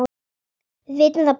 Við vitum það báðar.